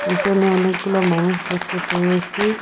পিসনে অনেকগুলো মানুষ দেখতে পেয়েসি।